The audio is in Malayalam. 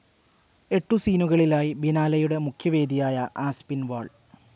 എട്ടു സീനുകളിലായി ബിനാലെയുടെ മുഖ്യവേദിയായ ആസ്പിൻവാൾ